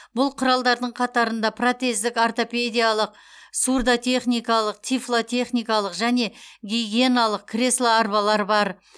бұл құралдардың қатарында протездік ортопедиялық сурдотехникалық тифлотехникалық және гигиеналық кресло арбалар бар